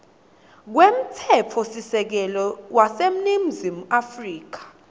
kwemtsetfosisekelo waseningizimu afrika